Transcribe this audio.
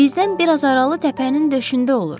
Bizdən biraz aralı təpənin döşündə olur.